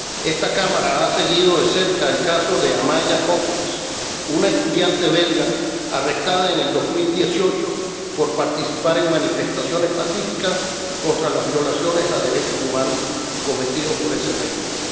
Esta Cámara ha seguido de cerca el caso de Amaya Coppens, una estudiante belga arrestada en el 2018 por participar en manifestaciones pacíficas contra las violaciones de los derechos humanos cometidas por ese régimen.